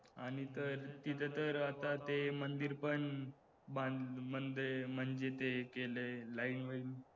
आणि तर तिथं तर आता ते मंदिर पण